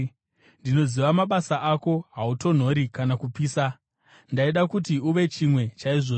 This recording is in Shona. Ndinoziva mabasa ako, kuti hautonhori kana kupisa. Ndaida kuti uve chimwe chaizvozvi!